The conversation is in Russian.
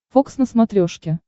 фокс на смотрешке